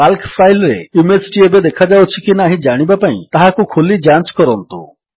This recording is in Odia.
କାଲ୍କ ଫାଇଲ୍ ରେ ଇମେଜ୍ ଟି ଏବେ ଦେଖାଯାଉଛି କି ନାହିଁ ଜାଣିବା ପାଇଁ ତାହାକୁ ଖୋଲି ଯାଞ୍ଚ କରନ୍ତୁ